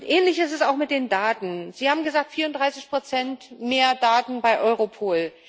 Ähnlich ist es auch mit den Daten Sie haben gesagt, 34 mehr Daten bei Europol.